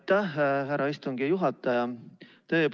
Aitäh, härra istungi juhataja!